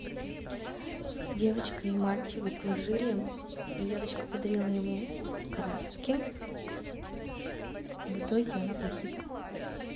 девочка и мальчик дружили девочка подарила ему краски в итоге она погибла